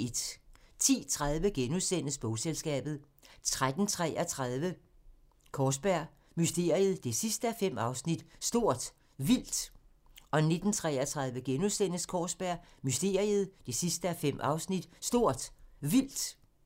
10:30: Bogselskabet * 13:33: Kaarsberg Mysteriet 5:5 – Stort Vildt 19:33: Kaarsberg Mysteriet 5:5 – Stort Vildt *